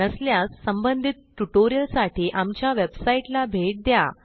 नसल्यास संबंधित ट्युटोरियलसाठी आमच्या वेबसाईटला भेट द्या